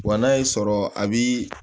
Wa n'a y'i sɔrɔ a bi